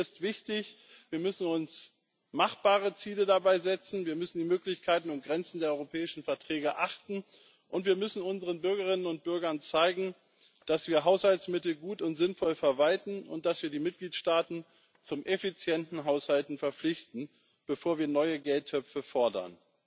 Mir ist wichtig Wir müssen uns machbare Ziele dabei setzen, wir müssen die Möglichkeiten und Grenzen der europäischen Verträge achten, und wir müssen unseren Bürgerinnen und Bürgern zeigen, dass wir Haushaltsmittel gut und sinnvoll verwalten und dass wir die Mitgliedstaaten zum effizienten Haushalten verpflichten, bevor wir neue Geldtöpfe fordern.